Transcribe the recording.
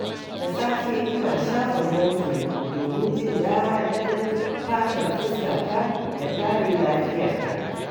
Da safe, ina shafa ruwan fure domin jin daɗin fatar fuskata da kare lafiyarta.